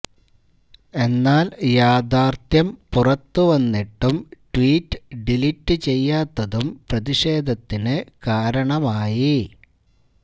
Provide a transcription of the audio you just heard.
എന്നാല് യാഥാര്ത്ഥ്യം പുറത്തുവന്നിട്ടും ട്വീറ്റ് ഡിലീറ്റ് ചെയ്യാത്തതും പ്രതിഷേധത്തിന് കാരണമായി